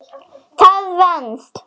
Það venst.